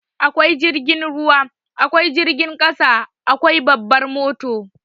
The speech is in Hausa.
Akwai jirgin ruwa, akwai jirgin ƙasa, akwai babbar mota.